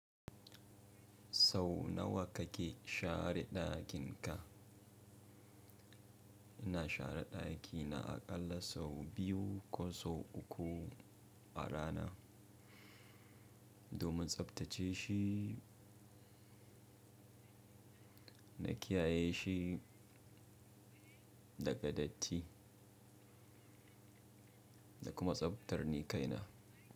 Sau nawa kake share dakin ka? Ina share daki na aƙalla sau biyu ko sau uku a rana, domin tsabtace shi na kiyaye shi daga datti da kuma tsabtar nikaina.